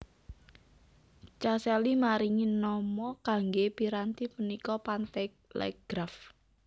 Caselli maringi nama kangge piranti punika Pantelegraf